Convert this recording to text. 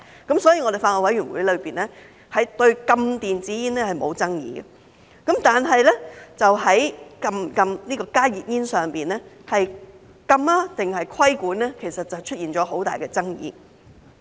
因此，法案委員會對禁止電子煙是沒有爭議的，但在禁止加熱煙上，就禁止還是規管便出現了很大爭議。